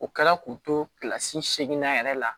O kɛla k'u to kilasi seeginnan yɛrɛ la